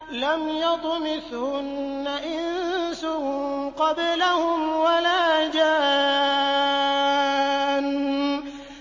لَمْ يَطْمِثْهُنَّ إِنسٌ قَبْلَهُمْ وَلَا جَانٌّ